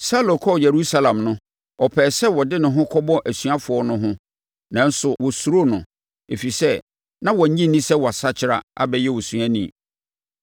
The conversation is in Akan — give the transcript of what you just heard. Saulo kɔɔ Yerusalem no, ɔpɛɛ sɛ ɔde ne ho kɔbɔ asuafoɔ no ho nanso wɔsuroo no, ɛfiri sɛ, na wɔnnye nni sɛ wasakyera abɛyɛ osuani.